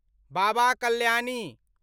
Baba Kalyani